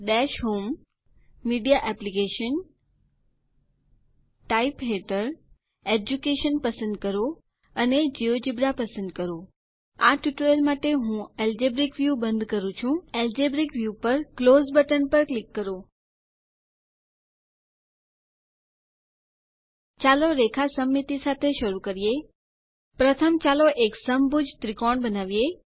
દશ હોમ જીટીજીટીમીડિયા એપ્સગ્ટગટંડર ટાઇપ જીટીજીટીચૂઝ એડ્યુકેશન જીટીજીટી અને જિયોજેબ્રા પસંદ કરો આ ટ્યુટોરીયલ માટે હું એલ્જેબ્રિક વ્યૂ બંધ કરું છું એલ્જેબ્રિક વ્યૂ પર ક્લોઝ બટન પર ક્લિક કરો ચાલો રેખા સમમિતિ સાથે શરૂ કરીએ પ્રથમ ચાલો એક સમભુજ ત્રિકોણ બનાવીએ